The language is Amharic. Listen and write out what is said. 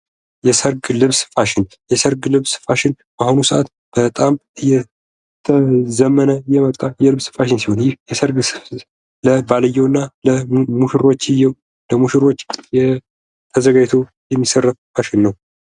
የሰርግ ልብስ ፋሽን የሰርግ ልብስ ፋሽን በአሁኑ ሰአት በጣም እየዘመነ የመጣ የልብስ ፋሽን ሲሆን ለባልየውና ለሙሽሮችየው ለሙሽሮች ተዘጋጅቶ የሚሰራ ፋሽን ነው።